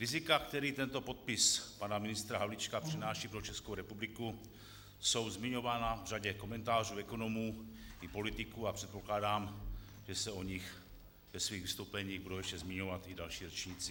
Rizika, která tento podpis pana ministra Havlíčka přináší pro Českou republiku, jsou zmiňována v řadě komentářů ekonomů i politiků a předpokládám, že se o nich ve svých vystoupeních budou ještě zmiňovat i další řečníci.